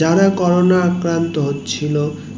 যারা করোনা আক্রান্ত হচ্ছিলো